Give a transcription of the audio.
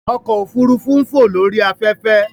Ọkọ ofurufu n fo lori afẹfẹ.